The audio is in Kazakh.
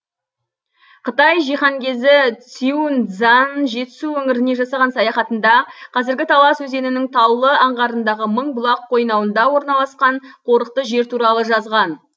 қытай жиһанкезі сюань цзан жетісу өңіріне жасаған саяхатында қазіргі талас өзенінің таулы аңғарындағы мыңбұлақ қойнауында орналасқан қорықты жер туралы жазған